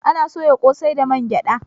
Ana soya ƙosai da mangyada